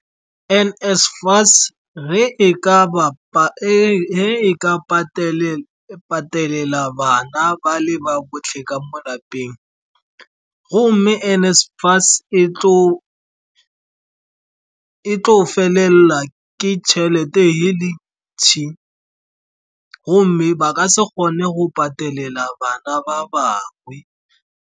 N_SFAS ge e ka patelela bana ba le ba botlhe ka mo lapeng, gomme N_SFAS e tlo go felela ke tšhelete e le ntši, gomme ba ka se kgone go patelela bana ba bangwe.